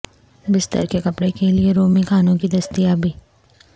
بستر کے کپڑے کے لئے رومی خانوں کی دستیابی